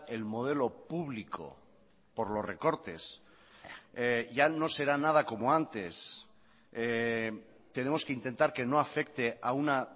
el modelo publico por los recortes ya no será nada como antes tenemos que intentar que no afecte a una